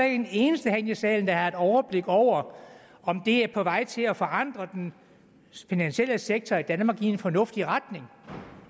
er en eneste herinde i salen der har et overblik over om det er på vej til at forandre den finansielle sektor i danmark i en fornuftig retning